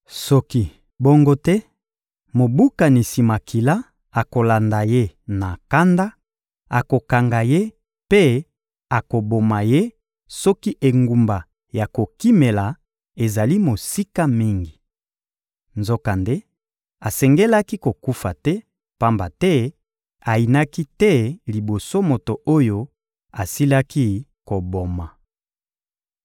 Soki bongo te, mobukanisi makila akolanda ye na kanda, akokanga ye mpe akoboma ye soki engumba ya kokimela ezali mosika mingi. Nzokande asengelaki kokufa te, pamba te ayinaki te liboso moto oyo asilaki koboma.